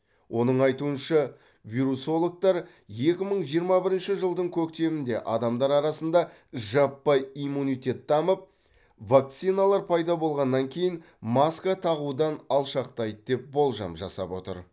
оның айтуынша вирусологтар екі мың жиырма бірінші жылдың көктемінде адамдар арасында жаппай иммунитет дамып вакциналар пайда болғаннан кейін маска тағудан алшақтайды деп болжам жасап отыр